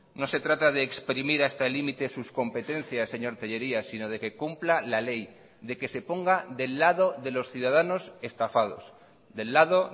no se trata de exprimir hasta el límite sus competencias señor tellería sino de que cumpla la ley de que se ponga del lado de los ciudadanos estafados del lado